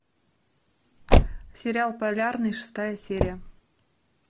сериал полярный шестая серия